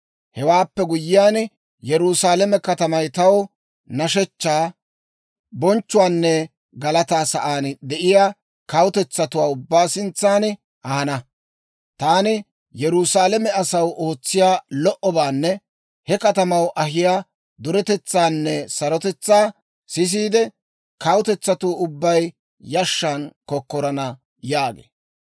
Hewaappe guyyiyaan, Yerusaalame katamay taw nashshechchaa, bonchchuwaanne galataa sa'aan de'iyaa kawutetsatuwaa ubbaa sintsan ahana. Taani Yerusaalame asaw ootsiyaa lo"obaanne he katamaw ahiyaa duretetsaanne sarotetsaa sisiide, kawutetsatuu ubbay yashshan kokkorana» yaagee.